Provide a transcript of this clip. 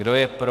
Kdo je pro?